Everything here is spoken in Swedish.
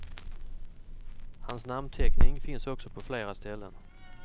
Hans namnteckning finns också på flera ställen.